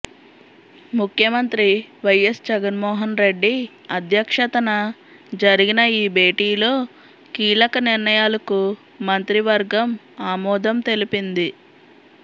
ముఖ్యమంత్రి వైఎస్ జగన్మోహన్ రెడ్డి అధ్యక్షతన జరిగిన ఈ భేటీలో కీలక నిర్ణయాలకు మంత్రివర్గం ఆమోదం తెలిపింది